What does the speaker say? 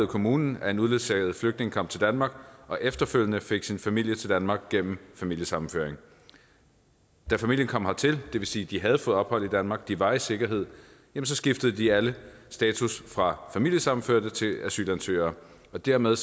kommunen at en uledsaget flygtning kom til danmark og efterfølgende fik sin familie til danmark gennem familiesammenføring da familien kom hertil det vil sige at de havde fået ophold i danmark de var i sikkerhed skiftede de alle status fra familiesammenførte til asylansøgere og dermed